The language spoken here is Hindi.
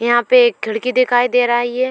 यहां पर एक खिड़की दिखाई दे रही है|